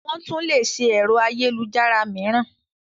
Wọ́n tún lé ṣe ẹ̀rọ ayélujára mííràn.